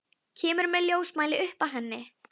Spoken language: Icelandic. Kemur með ljósmæli upp að henni.